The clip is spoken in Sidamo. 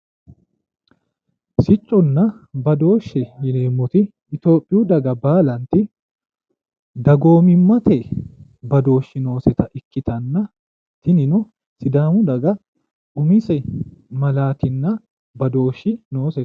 Sicconna badooshe yineemmoti itiyoophiyu daga baalanti dagoomimmate badooshshi nooseta ikkitanna tinino sidaamu daga umise malaatinna badooshshi noose.